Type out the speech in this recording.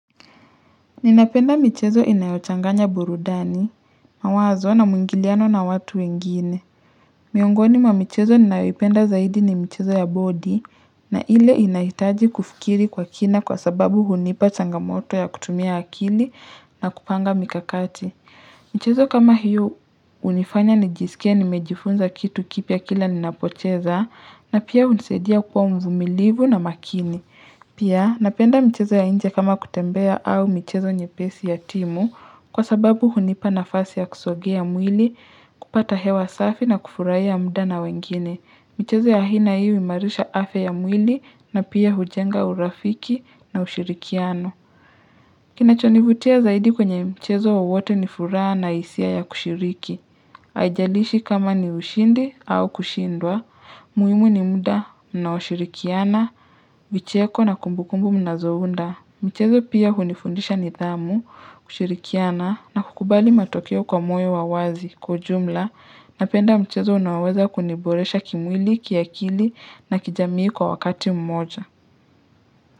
Ninapenda michezo inayochanganya burudani, mawazo na muingiliano na watu wengine Miongoni mwa michezo ninayopenda zaidi ni michezo ya bodi na ile inahitaji kufikiri kwa kina kwa sababu hunipa changamoto ya kutumia akili na kupanga mikakati michezo kama hiyo unifanya nijisikie nimejifunza kitu kipya kila ninapocheza na pia hunisadia kuwa mvumilivu na makini Pia, napenda mchezo ya inje kama kutembea au michezo nyepesi ya timu kwa sababu hunipa nafasi ya kusogea mwili kupata hewa safi na kufurahia muda na wengine. Michezo ya aina hii huimarisha afya ya mwili na pia hujenga urafiki na ushirikiano Kinachonivutia zaidi kwenye mchezo wowote ni furaha na hisia ya kushiriki haijalishi kama ni ushindi au kushindwa, muhimu ni muda mnaoshirikiana, vicheko na kumbukumbu mnazounda. Michezo pia hunifundisha nidhamu, kushirikiana, na kukubali matokeo kwa moyo wa wazi kwa ujumla napenda mchezo unaoweza kuniboresha kimwili, kiakili, na kijamii kwa wakati mmoja.